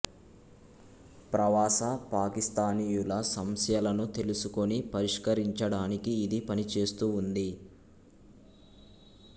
ప్రవాస పాకిస్థానీయుల సంస్యలను తెలుసుకుని పరిష్కరించడానికి ఇది పనిచేస్తూ ఉంది